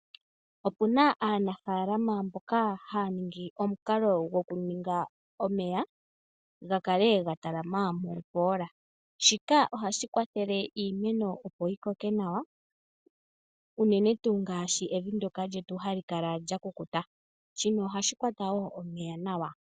Opu na aanafaalama mboka haya ningi omeya ga kale ga talama momboola. Shika ohashi kwathele iimeno opo yi koke nawa, unene tuu ngaashi evi lyetu ndoka hali kala lya kukuta. Shino ohashi kwatwa wo omeya nawa.